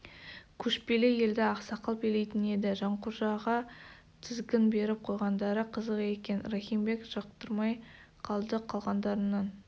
көшпелі елді ақсақал билейтін еді жанқожаға тізгін беріп қойғандары қызық екен рахим бек жақтырмай қалды қалғандарының